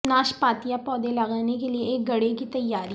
ناشپاتیاں پودے لگانے کے لئے ایک گڑھے کی تیاری